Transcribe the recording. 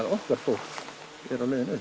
okkar fólk er á leiðinni upp